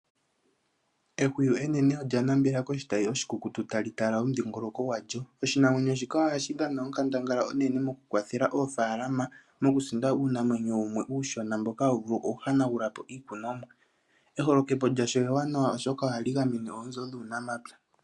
Ehuwi enene olya nambela koshitayi oshikukutu ta li tala omudhingoloko gwalyo. Oshinamwenyo shika oha shi dhana onkandangala onene mo ku kwathela oofaalama, moku sinda uunamwenyo wu mwe uushona, mboka ha wu vulu oku hanagula po iikunwamo. Eholokepo lyalyo ewanawa oshoka oha li gamene oonzo nuunamapya.